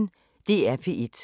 DR P1